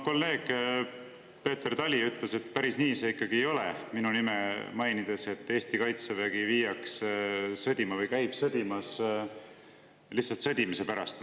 Kolleeg Peeter Tali ütles minu nime mainides, et päris nii see ikkagi ei ole, et Eesti kaitsevägi viiakse sõdima või käib sõdimas lihtsalt sõdimise pärast.